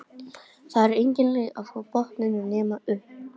Það er engin leið frá botninum nema upp